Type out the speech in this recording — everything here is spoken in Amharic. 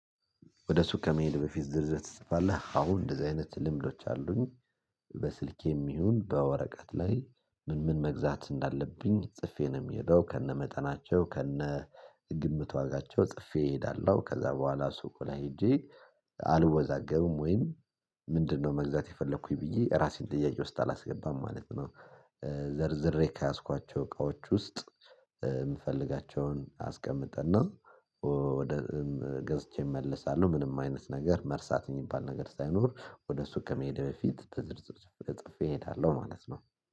ወደ ሱቅ ከመሄድ በፊት ዝርዝር ትጽፋለህ? አዎ እንደዚህ አይነት ልምዶች አሉኝ። በስልኬም ይሁን በወረቀት ላይ ምን ምን መግዛት እንዳለብኝ ጽፌ ነው የምሄደው። ከነመጠናቸው፤ ከነ ግምት ዋጋቸው፤ ጽፌ እሄዳለሁ። ከዛ በኋላ ሱቁን ላይ ሄጄ አልወዛገብም ወይም ምንድነው መግዛት የፈለኩኝ ብዬ ራሴን ጥያቄ ውስጥ አላስገባም ማለት ነው። ዘርዝሬ ከያዝኳቸው እቃዎች ውስጥ የምፈልጋቸውን አስቀምጥ እና ወደ ገዝቼ እመልሳለሁ ምንም አይነት ነገር መርሳት የሚባል ነገር ሳይኖር ወደ ሱቅ ከመሄዴ በፊት በዝርዝር እጽፌ እሄዳለሁ ማለት ነው።